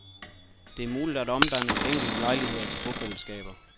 Det er muligt at omdanne enkelte lejligheder til bofællesskaber.